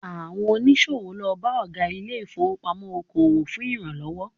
Àwọn oníṣòwò lọ bá Ọ̀gá ilé ìfowópamọ́ oko òwò fún ìrànlọ́wọ́